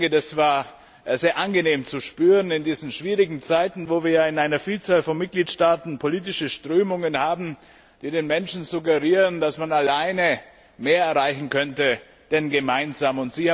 Das war sehr angenehm zu spüren in diesen schwierigen Zeiten, wo wir in einer Vielzahl von Mitgliedstaaten politische Strömungen haben, die den Menschen suggerieren, dass man alleine mehr erreichen könnte als gemeinsam.